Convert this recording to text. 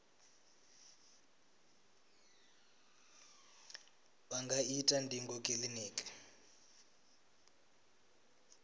vha nga ita ndingo kiliniki